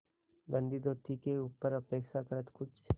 गंदी धोती के ऊपर अपेक्षाकृत कुछ